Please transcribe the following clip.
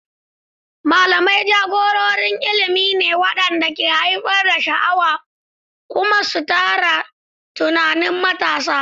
Malamai jagororin ilimi ne waɗanda ke haifar da sha'awa kuma su tsara tunanin matasa.